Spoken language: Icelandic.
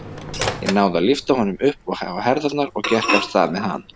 Ég náði að lyfta honum upp á herðarnar og gekk af stað með hann.